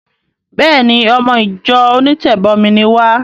Béèni! Ọmọ ìjọ onítẹ̀bọmi ni wá.